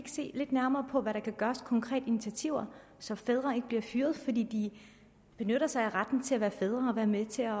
se lidt nærmere på hvad der kan gøres konkrete initiativer så fædre ikke bliver fyret fordi de benytter sig af retten til at være fædre og være med til at